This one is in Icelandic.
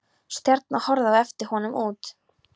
Stjarna horfði á eftir honum út.